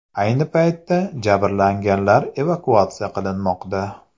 Ayni paytda jabrlanganlar evakuatsiya qilinmoqda.